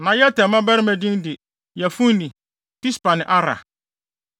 Na Yeter mmabarima din de: Yefune, Pispa ne Ara.